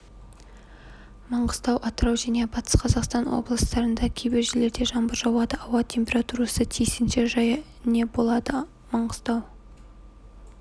маңғыстау атырау және батыс қазақстан облыстарында кейбір жерлерде жаңбыр жауады ауа температурасы тиісінше және болады маңғыстау